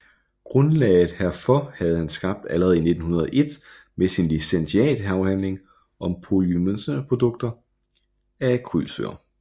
Grundlaget herfor havde han skabt allerede i 1901 med sin licentiatafhandling om polymerisationsprodukter af akrylsyre